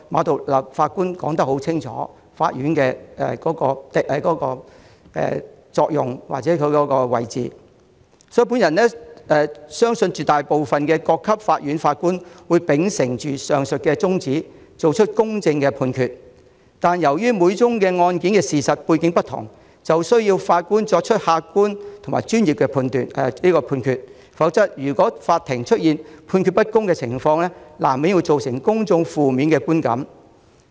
至於各級法院法官，我相信絕大部分法官都會秉承上述宗旨，作出公正判決，但由於每宗案件的事實背景並不相同，法官需要作出客觀和專業的判決。否則，如果法庭出現判決不公的情況，難免令公眾產生負面的觀感。